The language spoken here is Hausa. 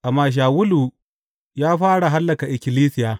Amma Shawulu ya fara hallaka ikkilisiya.